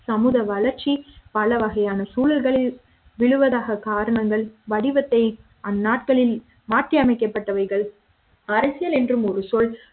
சமூக வளர்ச்சி பலவகை யான சூழல்கள் விழுவதாக காரணங்கள் வடிவத்தை அந்நாட்களில் மாற்றியமைக்கப்பட்டவைகள் அரசியல் என்றும் ஒரு சொல்